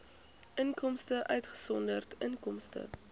inkomste uitgesonderd inkomste